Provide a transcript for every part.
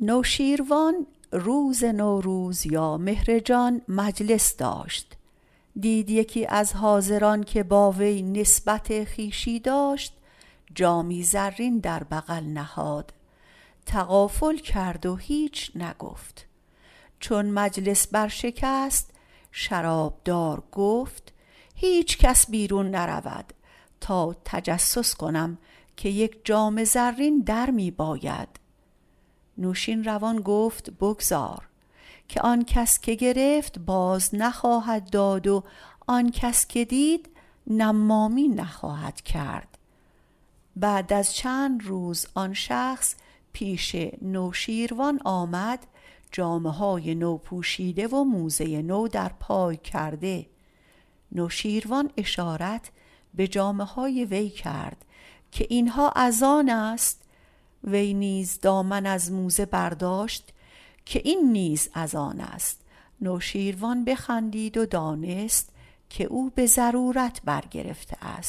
نوشیروان روز نوروز یا مهرجان مجلس می داشت دید یکی از حاضران که با وی نسبت خویشی داشت جام زرین در بغل نهاد تغافل کرد و هیچ نگفت چون مجلس برشکست شرابدار گفت هیچ کس بیرون نرود تا تجسس کنیم که یک جام زرین درمی باید نوشیروان گفت بگذار آن کس که گرفت باز نخواهد داد و آن کس که گرفت باز دید نمامی نخواهد کرد بعد از چند روز آن شخص درآمد جامه های نو پوشیده و موزه نو در پا کرده نوشیروان اشارت به جامه های وی کرد که اینها از آن است وی دامن از موزه برداشت که این نیز از آن است نوشیروان بخندید دانست که آن را به ضرورت احتیاج کرده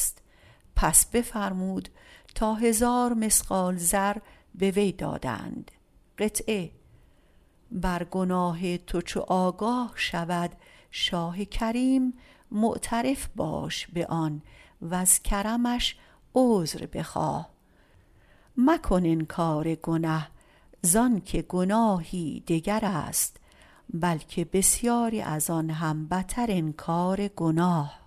بود بفرمود تا هزار مثقال زر به وی دهند از گناه تو چو آگاه شود شاه کریم معترف باش به آن وز کرمش عذر بخواه مکن انکار گنه زانکه گناه دگر است بلکه بسیاری ازان هم بتر انکار گناه